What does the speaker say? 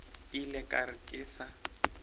ile ka re ke sa